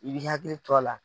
I b'i hakili to a la.